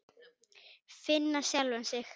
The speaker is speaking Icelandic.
Finna sjálfa sig.